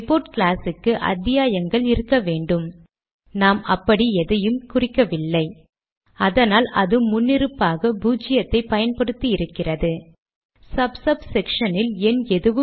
slash opening கட்டளையானது பெறுகிறவரை விளிப்பதற்கானது